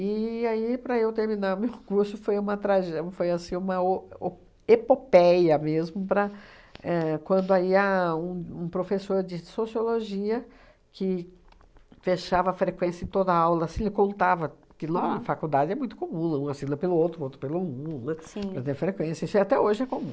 E aí, para eu terminar o meu curso, foi uma tragé foi uma o o epopeia mesmo para éh, quando aí a um um professor de sociologia, que fechava a frequência em toda aula, assim, ele contava que lá na faculdade é muito comum, um assina pelo outro, um assina pelo outro, né, para ter frequência, isso até hoje é comum.